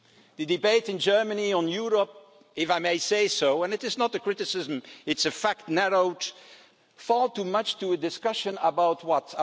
The debate in Germany on Europe, if I may say so, and it is not a criticism, it's a fact, narrowed far too much down to a discussion about